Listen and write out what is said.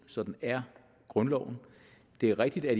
sådan er grundloven det er rigtigt at